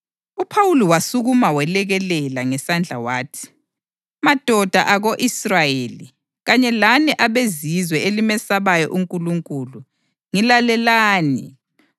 UPhawuli wasukuma welekelela ngesandla wathi, “Madoda ako-Israyeli kanye lani abeZizwe elimesabayo uNkulunkulu, ngilalelani!